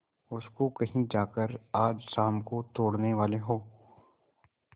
उसको कहीं जाकर आज शाम को तोड़ने वाले हों